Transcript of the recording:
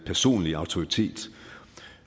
personlige autoritet